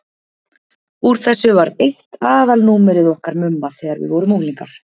Úr þessu varð eitt aðalnúmerið okkar Mumma þegar við vorum unglingar.